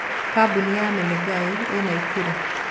Kambuni ya Menengai ĩĩ Naikuru